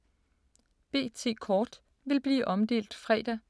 B.T.-kort vil blive omdelt fredag.